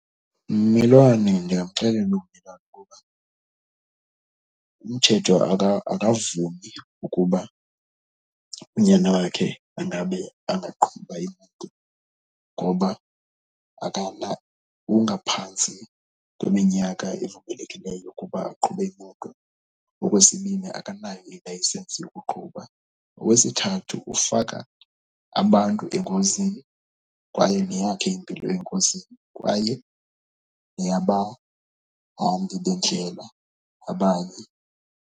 Mmelwane, ndiyakuxelela ukuba umthetho akavumi ukuba unyana wakhe angabe angaqhuba imoto ngoba ungaphantsi kweminyaka evumelekileyo ukuba aqhube imoto. Okwesibini, akanayo ilayisensi yokuqhuba. Okwesithathu, ufaka abantu engozini kwaye neyakhe impilo engozini kwaye niyabahambi bendlela abanye.